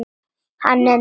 Hann er nýr.